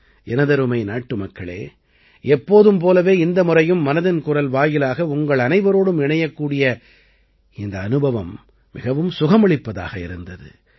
எனதருமை நாட்டுமக்களே எப்போதும் போலவே இந்த முறையும் மனதின் குரல் வாயிலாக உங்களனைவரோடும் இணையக்கூடிய இந்த அனுபவம் மிகவும் சுகமளிப்பதாக இருந்தது